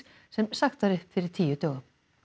sem sagt var upp fyrir tíu dögum